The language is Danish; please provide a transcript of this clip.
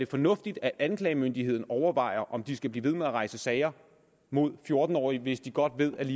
fornuftigt at anklagemyndigheden overvejer om de skal blive ved med at rejse sager mod fjorten årige hvis de godt ved at